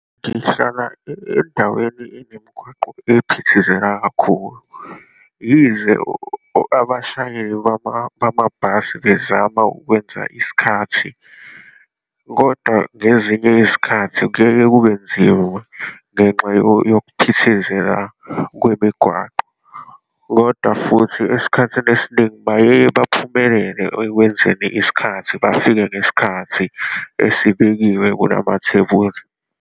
Ngihlala endaweni enemigwaqo ephithizela kakhulu. Yize abashayeli bamabhasi bezama ukwenza isikhathi, kodwa ngezinye izikhathi kuyeye kubenzima ngenxa yokuphithizela kwemigwaqo. Kodwa futhi esikhathini esiningi bayeye baphumelele ekwenzeni isikhathi, bafike ngesikhathi esibekiwe kulamathebuli.